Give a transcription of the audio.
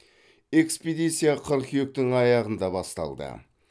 экспедиция қыркүйектің аяғында басталды